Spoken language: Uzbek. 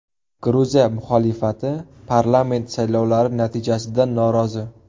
Gruziya muxolifati parlament saylovlari natijasidan norozi.